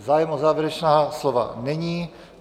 Zájem o závěrečná slova není.